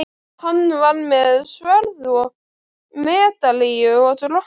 Hann var með sverð og medalíu og drottningu.